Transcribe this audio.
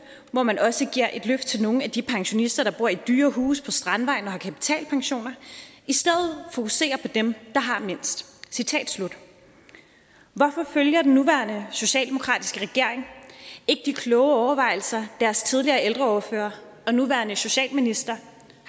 hvor man også giver et løft af nogle af de pensionister der bor i dyre huse på strandvejen og har kapitalpensioner fokuserer på dem der har mindst citat slut hvorfor følger den nuværende socialdemokratiske regering ikke de kloge overvejelser deres tidligere ældreordfører og nuværende socialminister